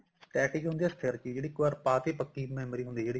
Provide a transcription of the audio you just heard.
static ਹੁੰਦੀ ਆ ਸਥਿਰ ਜੀ ਜਿਹੜੀ ਇੱਕ ਵਾਰੀ ਪਾਤੀ ਪੱਕੀ memory ਹੁੰਦੀ ਜਿਹੜੀ